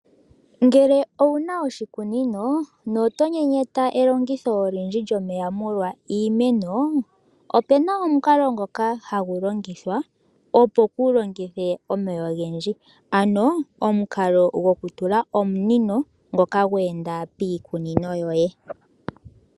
Ngele owuna oshikunino noto nyenyeta elongitho olindji lyomeya molwa iimeno, opena omukalo ngoka hagu longithwa opo kulongithe omeya ogendji. Ano omukalo goku tula omunino ngoka gwa enda piikunino yoye.